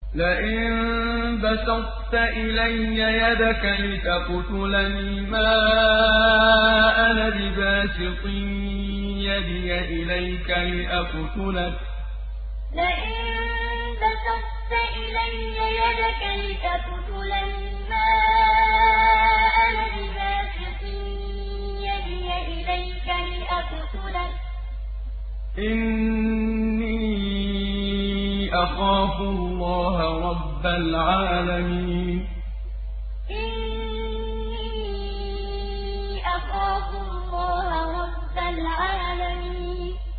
لَئِن بَسَطتَ إِلَيَّ يَدَكَ لِتَقْتُلَنِي مَا أَنَا بِبَاسِطٍ يَدِيَ إِلَيْكَ لِأَقْتُلَكَ ۖ إِنِّي أَخَافُ اللَّهَ رَبَّ الْعَالَمِينَ لَئِن بَسَطتَ إِلَيَّ يَدَكَ لِتَقْتُلَنِي مَا أَنَا بِبَاسِطٍ يَدِيَ إِلَيْكَ لِأَقْتُلَكَ ۖ إِنِّي أَخَافُ اللَّهَ رَبَّ الْعَالَمِينَ